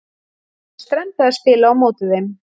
Það verður strembið að spila á móti þeim.